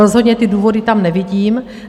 Rozhodně ty důvody tam nevidím.